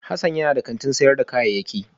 Hassan yana da kantin sayar da kayayyaki